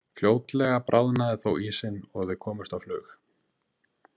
Fljótlega bráðnaði þó ísinn og þau komust á flug.